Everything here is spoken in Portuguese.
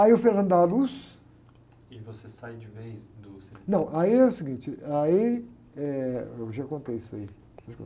Aí o dá a luz... você sai de vez do ?ão, aí é o seguinte, aí... Eh, eu já contei isso aí.